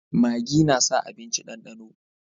Magi na sa abinci dandano